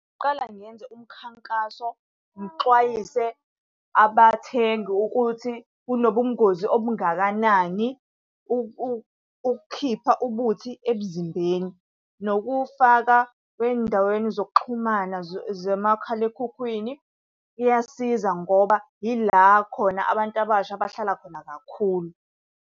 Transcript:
Qala ngenze umkhankaso, ngixwayise abathengi ukuthi kunobungozi okungakanani ukukhipha ubuthi emzimbeni nokuwufaka ey'ndaweni zokuxhumana zikamakhalekhukhwini. Iyasiza ngoba ila khona abantu abasha abahlala khona kakhulu.